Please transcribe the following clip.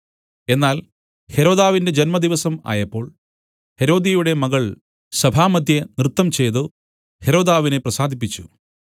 എന്നാൽ ഹെരോദാവിന്റെ ജന്മദിവസം ആയപ്പോൾ ഹെരോദ്യയുടെ മകൾ സഭാമദ്ധ്യേ നൃത്തംചെയ്തു ഹെരോദാവിനെ പ്രസാദിപ്പിച്ചു